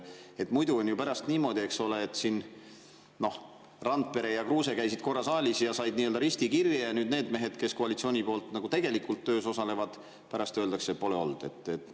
Äkki muidu on pärast niimoodi, eks ole, et Randpere ja Kruuse käisid korra saalis ja said nii-öelda risti kirja, aga nende meeste kohta, kes koalitsiooni poolt tegelikult töös osalevad, pärast öeldakse, et neid pole siin olnud.